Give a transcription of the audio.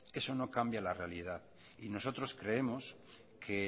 eso no cambia la realidad y nosotros creemos que